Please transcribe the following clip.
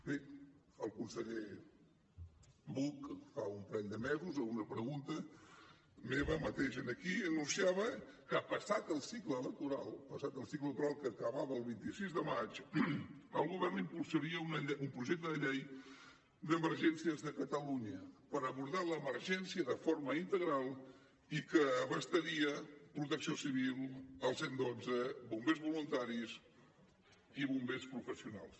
bé el conseller buch fa un parell de mesos a una pregunta meva mateix aquí anunciava que passat el cicle electoral que acabava el vint sis de maig el govern impulsaria un projecte de llei d’emergències de catalunya per abordar l’emergència de forma integral i que abastaria protecció civil el cent i dotze bombers voluntaris i bombers professionals